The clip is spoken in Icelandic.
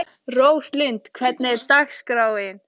Róslind, hvernig er dagskráin?